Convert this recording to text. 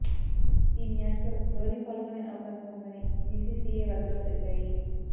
ఈ మ్యాచ్ల్లో ధోనీ పాల్గొనే అవకాశం ఉందని బిసిసిఐ వర్గాలు తెలిపాయి